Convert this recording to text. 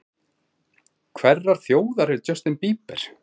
Hverrar þjóðar er Justin Bieber?